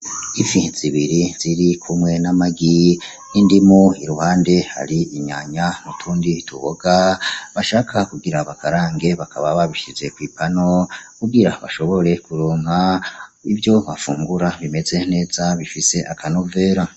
Ifi zibiri zirikumwe n'amagi n'indimu iruhande hari inyanya nutundi tuboga bashaka kugira bakarange bakaba babishize kw'ipano kugira bashobore kuronka ivyo bafungura bimeze neza bifise akanovera.